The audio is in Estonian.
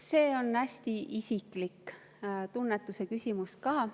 See on hästi isikliku tunnetuse küsimus ka.